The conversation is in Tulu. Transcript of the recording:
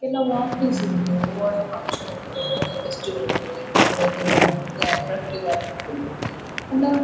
ಕೆಲವು ಆಫೀಸ್ ಲೆಡ್ ಒವ್ವಾಂಡ ಫಂಕ್ಷನ್ ಇಪ್ಪುಂಡು ಒವ್ವಾಂಡ ಫೆಸ್ಟಿವಲ್ ಇಪ್ಪುಂಡು ಎಡ್ಡೆ ಡೆಕೊರೇಟ್ ಮಂತ್ ದ್ ಅಟ್ರಾಕ್ಟೀವ್ ಆದ್ ಉಪ್ಪುಂಡು ಪಂಡ.